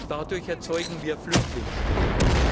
Dadurch erzeugen wir Flüchtlingsströme.